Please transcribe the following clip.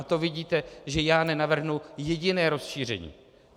A to vidíte, že já nenavrhnu jediné rozšíření.